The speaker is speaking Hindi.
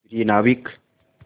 प्रिय नाविक